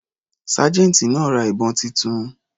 Sergeant náà ra ìbọn titun.